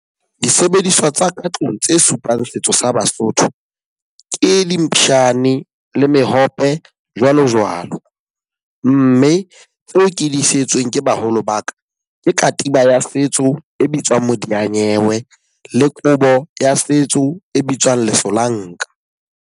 Disebediswa tsa ka tlung tse supang setso sa Basotho ke le mehope jwalo jwalo. Mme tseo ke di isitsweng ke baholo ba ka. Ke katiba ya setso e bitswang modiyanyewe le kobo ya setso e bitswang lesolanka.